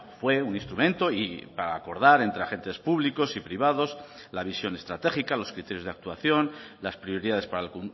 fue un instrumento y a acordar entre agentes públicos y privados la visión estratégica los criterios de actuación las prioridades para el